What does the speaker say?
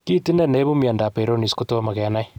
Kit ine ne ipu mionda Peyronie's kotom kenai.